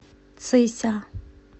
цися